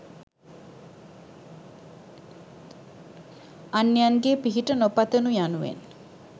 අන්‍යයන්ගේ පිහිට නොපතනු යනුවෙන්